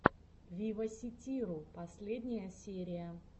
виваситиру последняя серия